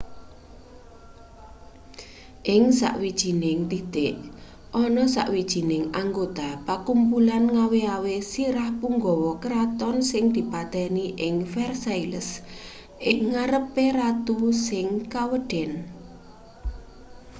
ing sawijining titik ana sawijining anggota pakumpulan ngawe-awe sirah punggawa kraton sing dipateni ing versailles ing ngarepe ratu sing kaweden